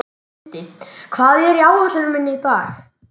Lindi, hvað er á áætluninni minni í dag?